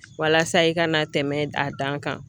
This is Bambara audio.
Walasa i kana tɛmɛn a dan kan.